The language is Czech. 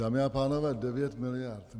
Dámy a pánové, 9 miliard.